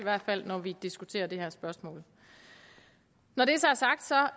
når vi diskuterer det her spørgsmål når det så er sagt